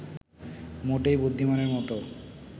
মোটেই বুদ্ধিমানের মতো